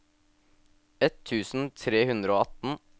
ett tusen tre hundre og atten